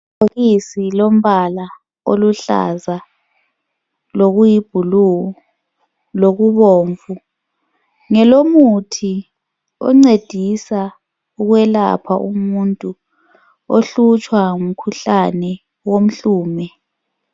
Ibhokisi lombala oluhlaza lokuyibhulu kanye lobomvu ngumuthi wokwelapha umuntu ohlutshwa ngumkhuhlane womhlume.